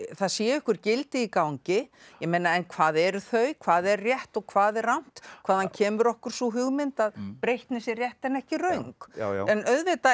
það séu einhver gildi í gangi ég meina en hvað eru þau hvað er rétt og hvað er rangt hvaðan kemur okkur sú hugmynd að breytni sé rétt en ekki röng en auðvitað